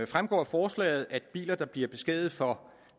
fremgår af forslaget at biler der bliver beskadiget for